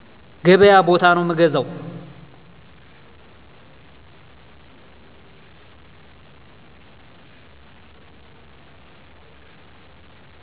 ገበያ ቦታ ነው ምገዛው